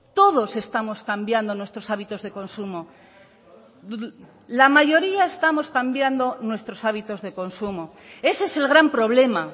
todos estamos cambiando nuestros hábitos de consumo la mayoría estamos cambiando nuestros hábitos de consumo ese es el gran problema